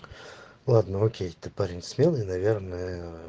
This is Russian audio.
ладно окей ты парень смелый наверное